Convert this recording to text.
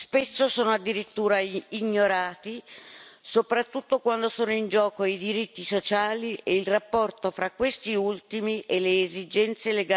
Spesso sono addirittura ignorati, soprattutto quando sono in gioco i diritti sociali e il rapporto fra questi ultimi e le esigenze